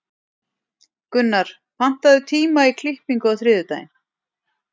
Gunnar, pantaðu tíma í klippingu á þriðjudaginn.